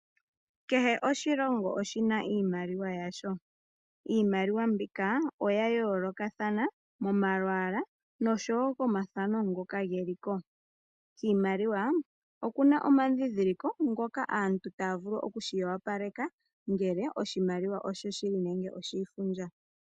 Kehe oshilongo oshina iimaliwa yasho, iimaliwa mbika oya yoolokathana momalwala noko mathano ngoka geli ko. Kiimaliwa okuna omadhindhiliko ngoka aantu taya vulu oku shiwapaleka ngele oshimaliwa oshoshili nenge oshi ifundja.